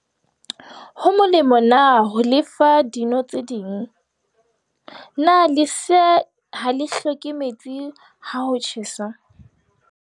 Potso- Ho molemo na ho le fa dino tse ding? Potso- Na lesea ha le hloke metsi ha ho tjhesa?